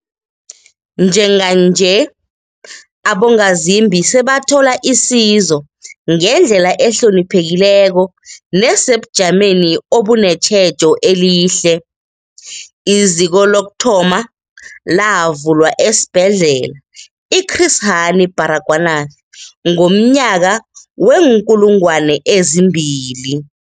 Njenganje, abongazimbi sebathola isizo ngendlela ehloniphekileko nesebujameni obunetjhejo elihle. IZiko lokuthoma lavulwa esiBhedlela i-Chris Hani Baragwanath ngomnyaka we-2000.